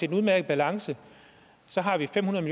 en udmærket balance så har vi fem hundrede